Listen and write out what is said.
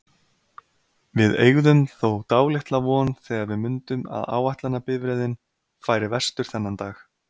Við eygðum þó dálitla von þegar við mundum að áætlunarbifreiðin færi vestur þennan dag.